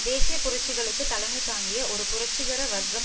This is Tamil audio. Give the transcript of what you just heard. தேசிய புரட்சிகளுக்கு தலைமை தாங்கிய ஒரு புரட்சிகர வர்க்கம்